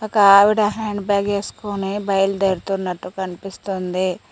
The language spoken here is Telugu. ఒకావిడ హ్యాండ్ బ్యాగ్ ఏస్కొని బయలు దేరుతున్నట్టు కన్పిస్తుంది.